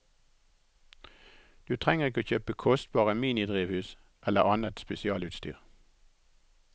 Du trenger ikke kjøpe kostbare minidrivhus eller annet spesialutstyr.